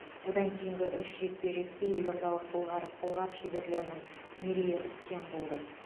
одан кейінгі үш жекпе жекте елордалық былғары қолғап шеберлерінің мерей үстем болды